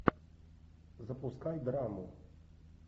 запускай драму